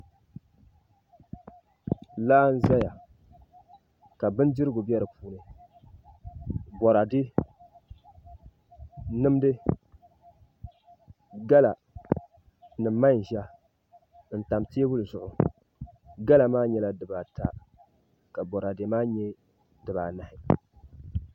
Laa n ʒɛya ka bindirigu bɛ di puuni boraadɛ mindi gala ni manʒa n tam teebuli zuɣu gala maa nyɛla dibata ka boraadɛ maa nyɛ dibanahi